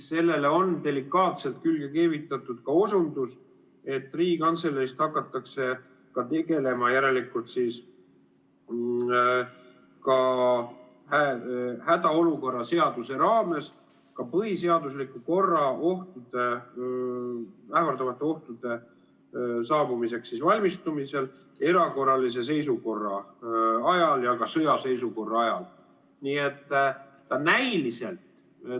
Sellele on delikaatselt külge keevitatud osundus, et Riigikantseleis hakatakse järelikult tegelema hädaolukorra seaduse raames ka põhiseaduslikku korda ähvardavate ohtude saabumiseks valmistumisega erakorralise seisukorra ajal ja ka sõjaseisukorra ajal.